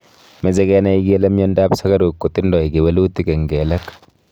Meche kenai kele mnyondop sugaruk kotindoi kawelutik eng kelek